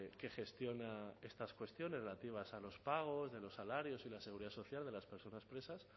que gestiona estas cuestiones relativas a los pagos de los salarios y la seguridad social de las personas presas